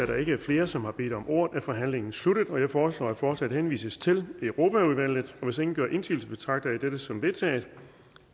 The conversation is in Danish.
der ikke er flere som har bedt om ordet er forhandlingen sluttet jeg foreslår at forslaget henvises til europaudvalget hvis ingen gør indsigelse betragter jeg dette som vedtaget